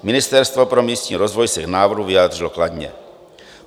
Ministerstvo pro místní rozvoj se k návrhu vyjádřilo kladně.